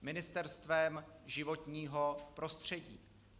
Ministerstvem životního prostředí.